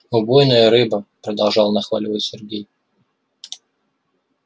убойная рыба продолжал нахваливать сергей